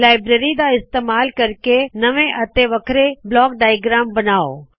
library ਦਾ ਇਸਤੇਮਾਲ ਕਰਕੇ ਨਵੇਂ ਅਤੇ ਵੱਖਰੇ ਬਲਾਕ ਡਾਇਗ੍ਰਆਮ ਬਨਾਉ